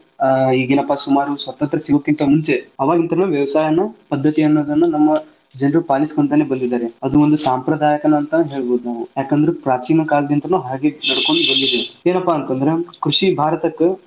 ಆಹ್ ಈಗ ಏನಪ್ಪಾ ಸುಮಾರು ಸ್ವಾತಂತ್ರ್ಯ ಸಿಗುಕಿಂತಾ ಮುಂಚೆ ಆವಾಗಿಂತ್ರ ವ್ಯವಸಾಯನ ಪದ್ದತಿಗನುಗುಣವಾಗಿ ಜನರು ಪಾಲಿಸಿಕೊಂಡ ಬಂದಿದಾರೆ ಅದು ಒಂದು ಸಾಂಪ್ರದಾಯಕ ಅಂತಾನು ಹೇಳಬಹುದು ನಾವು ಯಾಕ ಅಂದ್ರ ಪ್ರಾಚೀನ ಕಾಲದಿಂತಾನು ಹಾಗೆ ನಡಕೊಂಡ್ ಬಂದಿದೆ ಏನಪ್ಪಾ ಅಂತ ಅಂದ್ರ ಕೃಷಿ ಭಾರತಕ್ಕ ಬಾಳ್.